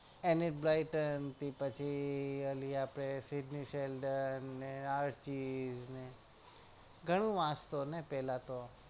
Anyblighter થી પછી અલી આપડે ને arties ને ગણું વાંચતો ને પેલા તો